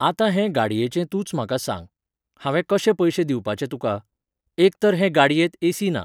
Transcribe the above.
आतां हे गाडयेचें तूंच म्हाका सांग. हांवें कशे पयशे दिवपाचे तुकां ? एक तर हे गाडयेंत एसी ना.